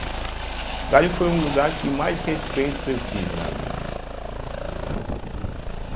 O garimpo foi um lugar que mais respeito eu tive na vida, né.